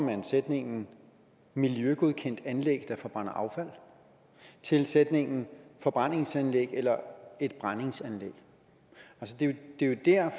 sætningen miljøgodkendt anlæg der forbrænder affald til sætningen forbrændingsanlæg eller et brændingsanlæg det er jo der